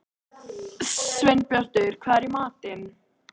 Sveinbjartur, hvað er í matinn?